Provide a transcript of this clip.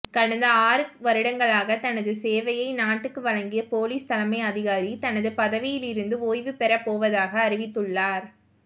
கடந்த ஆறு வருடங்களாக தனது சேவையை நாட்டுக்கு வழங்கிய பொலிஸ் தலைமை அதிகாரி தனது பதவியிருந்து ஓய்வுப் பெறபோவதாக அறிவித்துள்ளார்